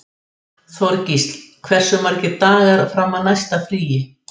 Þorgísl, hversu margir dagar fram að næsta fríi?